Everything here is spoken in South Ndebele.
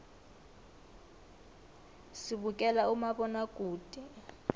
sibukela umabonakude